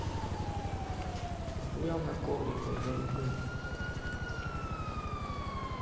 нехуя он на коврик бля зарядил